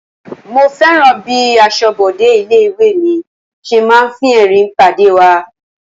Mo fẹ́ràn bí aṣọbode ilé-ìwé mi ṣe máa ń fi ẹrin pàdé wa.